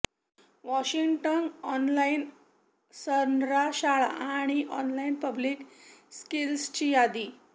Washington online सनरा शाळा आणि ऑनलाईन पब्लिक स्किल्सची यादी